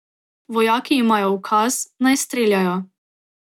Vojaki imajo ukaz, naj streljajo.